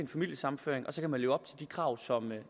familiesammenføring og så kan man leve op til de krav som